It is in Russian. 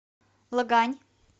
лагань